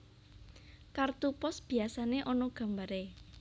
Kartu pos biyasané ana gambaré